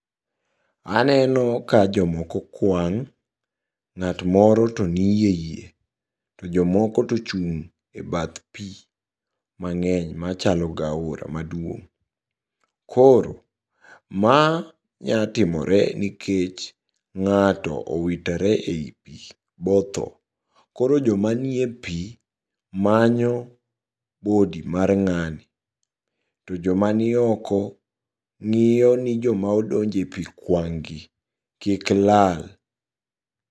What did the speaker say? Aneno ka jomoko kuang', nga't moro to nie yie to jomoko tochung' badh pii mang'eny machalo gi aora maduong. Koro ma nyatimore nikech ng'ato owitore ei pii botho koro jomanie ie pii manyo body mar ng'ani to jomanioko ng'iyo ni joma odonj e pii kuang' gi kiklal.